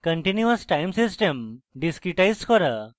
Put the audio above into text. continuous time system discretize করা